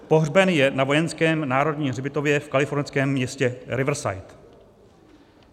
Pohřben je na vojenském národním hřbitově v kalifornském městě Riverside.